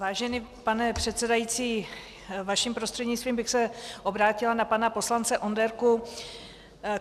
Vážený pane předsedající, vaším prostřednictvím bych se obrátila na pana poslance Onderku.